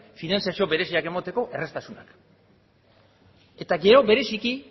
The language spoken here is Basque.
finantzazio bereziak emateko erraztasunak eta gero bereziki